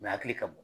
U hakili ka bon